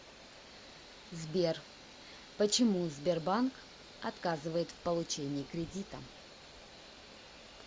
сбер почему сбербанк отказывает в получении кредита